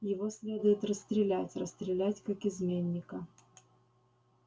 его следует расстрелять расстрелять как изменника